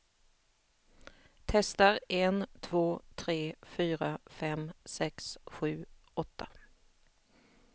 Testar en två tre fyra fem sex sju åtta.